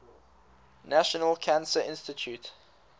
national cancer institute